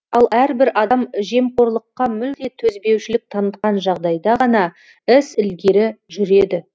ал әрбір адам жемқорлыққа мүлде төзбеушілік танытқан жағдайда ғана іс ілгері жүреді